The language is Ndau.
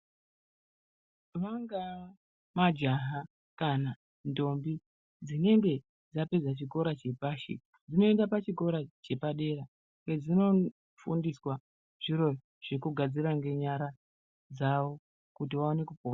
Vangaa majaha kana ndombi dzinenge dzapedza chikora chepashi dzinoenda pachikora chepadera kwedzinofundiswa zviro zvekugadzira ngenyara dzawo kuti vaone kupona.